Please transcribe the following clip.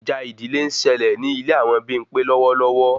Ìjà ìdílé ń ṣẹlẹ ní ilé àwọn Bimpe lọwọlọwọ